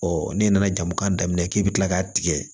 n'i nana jamu kan daminɛ k'i bɛ kila k'a tigɛ